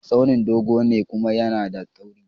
Tsauni dogo ne kuma yAna da tauri